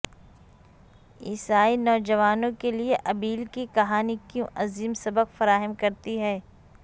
عیسائی نوجوانوں کے لئے ابیل کی کہانی کیوں عظیم سبق فراہم کرتی ہے